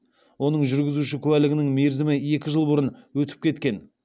оның жүргізуші куәлігінің мерзімі екі жыл бұрын өтіп кеткен